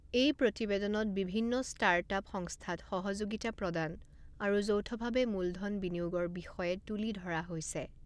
এই প্ৰতিবেদনত বিভিন্ন ষ্টাৰ্টআপ সংস্থাত সহযোগিতা প্ৰদান আৰু যৌথভাৱে মূলধন বিনিয়োগৰ বিষয়ে তুলি ধৰা হৈছে।